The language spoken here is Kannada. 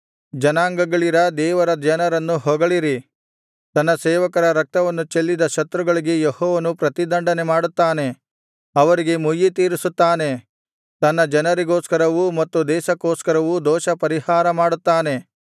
ಜನಾಂಗಳಿರಾ ದೇವರ ಜನರನ್ನು ಹೊಗಳಿರಿ ತನ್ನ ಸೇವಕರ ರಕ್ತವನ್ನು ಚೆಲ್ಲಿದ ಶತ್ರುಗಳಿಗೆ ಯೆಹೋವನು ಪ್ರತಿದಂಡನೆ ಮಾಡುತ್ತಾನೆ ಅವರಿಗೆ ಮುಯ್ಯಿತೀರಿಸುತ್ತಾನೆ ತನ್ನ ಜನರಿಗೋಸ್ಕರವೂ ಮತ್ತು ದೇಶಕ್ಕೋಸ್ಕರವೂ ದೋಷ ಪರಿಹಾರಮಾಡುತ್ತಾನೆ